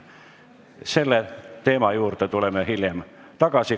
Selle teema juurde tuleme hiljem tagasi.